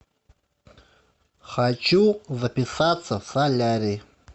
хочу записаться в солярий